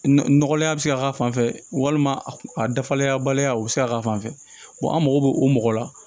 Nɔgɔlenya bɛ se ka k'a fan fɛ walima a dafalenya baliya o bɛ se ka k'a fan fɛ an mago bɛ o mɔgɔ la